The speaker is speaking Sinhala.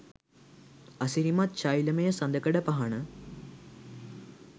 අසිරිමත් ශෛලමය සඳකඩපහණ